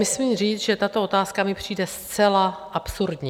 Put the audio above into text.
Musím říct, že tato otázka mi přijde zcela absurdní.